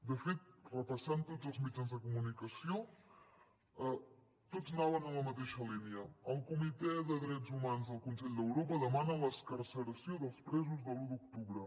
de fet repassant tots els mitjans de comunicació tots anaven en la mateixa línia el comitè de drets humans del consell d’europa demana l’excarceració dels presos de l’u d’octubre